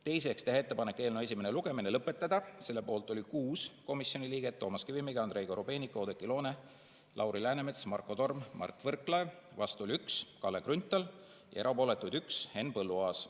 Teiseks, teha ettepanek eelnõu esimene lugemine lõpetada, selle poolt oli 6 komisjoni liiget: Toomas Kivimägi, Andrei Korobeinik, Oudekki Loone, Lauri Läänemets, Marko Torm, Mart Võrklaev, vastu oli 1, Kalle Grünthal, ja erapooletuid oli 1, Henn Põlluaas.